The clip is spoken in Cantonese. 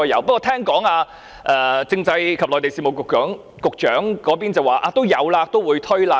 不過，據聞政制及內地事務局局長表示也將會推出。